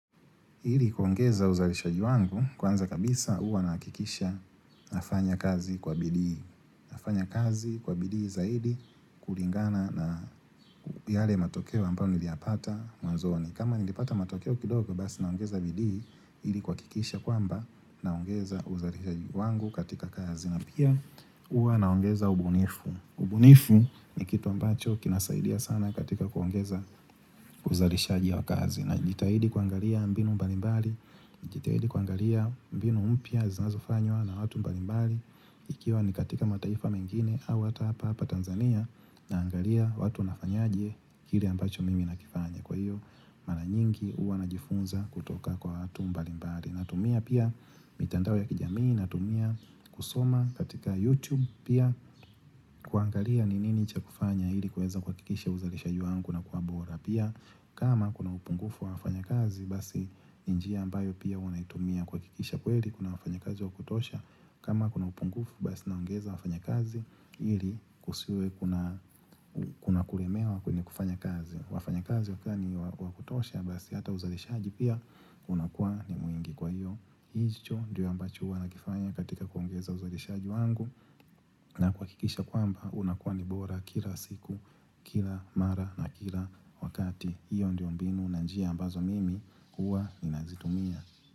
Ili kuongeza uzalishaji wangu kwanza kabisa huwa nahakikisha nafanya kazi kwa bidii Nafanya kazi kwa bidii zaidi kulingana na yale matokeo ambao niliyapata mwanzoni kama nilipata matokeo kidogo basi naongeza bidii ili kuhakikisha kwamba naongeza uzalishaji wangu katika kazi na pia huwa naongeza ubunifu ubunifu ni kitu ambacho kinasaidia sana katika kuongeza uzalishaji wa kazi Najitahidi kuangalia mbinu mbalimbali najitahidi kuangalia mbinu mpya zinazofanywa na watu mbalimbali Ikiwa ni katika mataifa mengine au hata hapahapa Tanzania naangalia watu wanafanyaje kile ambacho mimi nakifanya kwa hiyo mara nyingi huwa najifunza kutoka kwa watu mbalimbali natumia pia mitandao ya kijamii natumia kusoma katika YouTube pia kuangalia ni nini cha kufanya ili kuweza kuhakikisha uzalishaji wangu unakuwa bora pia kama kuna upungufu wa wafanyakazi basi ni njia ambayo pia huwa naitumia kuhakikisha kweli kuna wafanyakazi wa kutosha kama kuna upungufu basi naongeza wafanyakazi ili kusiwe kuna kuna kulemewa kwenye kufanya kazi wafanyakazi wakiwa ni wa kutosha basi hata uzalishaji pia unakua ni mwingi kwa hiyo hicho ndio ambacho huwa nakifanya katika kuongeza uzalishaji wangu na kuhakikisha kwamba unakuwa ni bora kila siku kila mara na kila wakati hiyo ndio mbinu na njia ambazo mimi huwa ninazitumia.